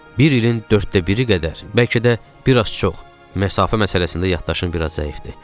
Bir ilin dörddə biri qədər, bəlkə də bir az çox, məsafə məsələsində yaddaşım bir az zəifdir.